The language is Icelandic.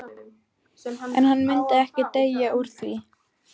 En hann myndi ekki deyja úr því.